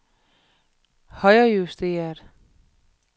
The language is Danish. højrejusteret